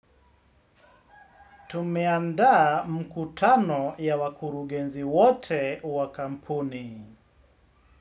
Tumeandaa mkutano ya wakurugenzi wote wa kampuni.